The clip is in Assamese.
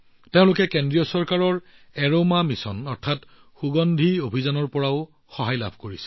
তেওঁলোকক কেন্দ্ৰীয় চৰকাৰৰ এৰোমা মিছনৰ জৰিয়তে পৰিচালনা কৰা হৈছে